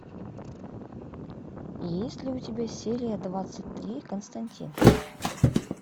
есть ли у тебя серия двадцать три константин